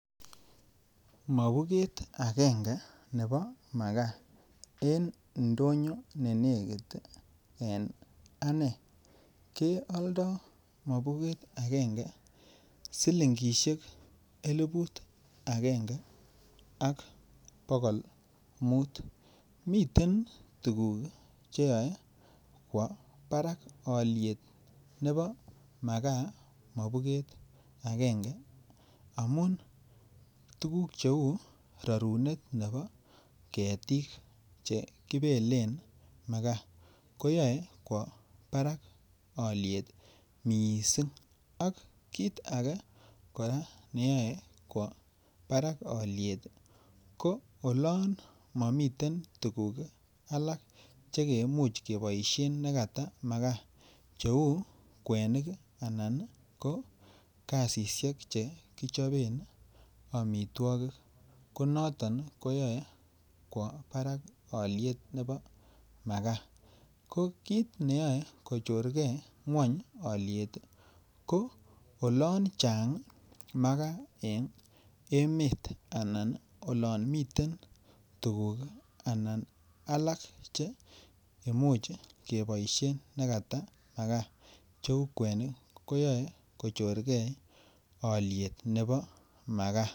Mobuget agenge nebo makaa en ndonyo ne negit en ane kealdo Mobuget agenge silingisiek Eliput agenge ak bogol muut miten tuguk Che yoe kwo barak alyet nebo makaa mobuket agenge amun tuguk cheu rorunet nebo ketik Che kibelen makaa ko yoe kwo barak alyet mising ak kit age neyoe kwo barak alyet ko olon momiten tuguk alak Che Imuch keboisien nekata makaa cheu kwenik Anan ko gasisyek Che kichoben amitwogik ko noton neyoe kwo barak alyet nebo makaa ko kit neyoe kochorgei ngwony alyet ko olon Chang makaa en emet Anan oloon miten tuguk alak Che Imuch keboisien nekata makaa cheu kwenik ko yoe ko chorgei alyet nebo makaa